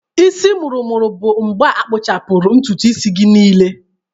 Isi mụrụ-mụrụ bụ mgbe a akpụchapuru ntutu isi gị niile.